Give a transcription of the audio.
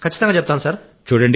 అవును సార్